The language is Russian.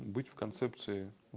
быть в концепции